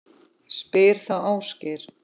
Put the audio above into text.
Spyr þá Ásgeir.